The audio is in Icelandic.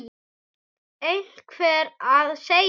Einhver verður að segja hann.